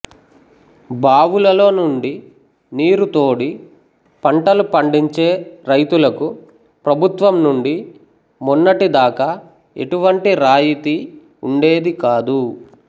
బావులలో నుండి నీరు తోడి పంటలు పండించే రైతులకు ప్రభుత్వం నుండి మొన్నటి దాక ఎటువంటి రాయితి వుండేది కాదు